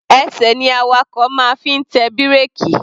Ẹsẹ̀ ní awakọ̀ máa ń fi ń tẹ bírèkì.